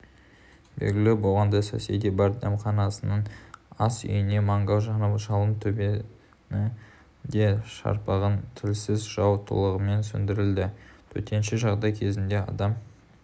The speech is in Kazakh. белгілі болғандай соседи бар дәмханасының ас үйінде мангал жанып жалын төбені де шарпыған тілсіз жау толығымен сөндірілді төтенше жағдай кезінде адам